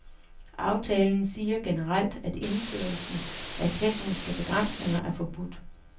Aftalen siger generelt, at indførelsen af tekniske begrænsninger er forbudt.